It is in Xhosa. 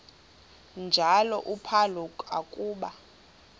njalo uphalo akuba